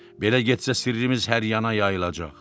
belə getsə sirrimiz hər yana yayılacaq.